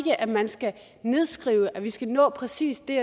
at man skal nedskrive at vi skal nå præcis det